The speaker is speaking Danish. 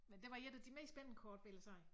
Men det var et af de mest spændende kort vil jeg sige